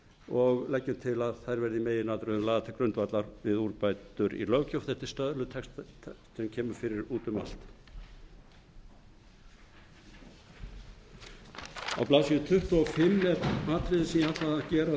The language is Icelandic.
og leggjum til að þær verði í meginatriðum lagðar til grundvallar við úrbætur í löggjöf þetta er stöðlun texta sem kemur fyrir út um allt á blaðsíðu tuttugu og fimm er atriði sem ég ætlaði að gera að